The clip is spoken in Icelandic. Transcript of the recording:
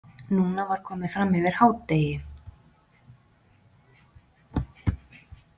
Núna var komið fram yfir hádegi.